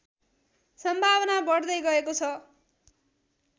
सम्भावना बढ्दै गएको छ